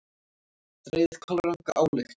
Dregið kolranga ályktun!